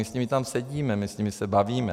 My s nimi tam sedíme, my s nimi se bavíme.